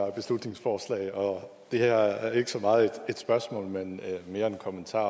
af beslutningsforslag og det her er ikke så meget et spørgsmål men mere en kommentar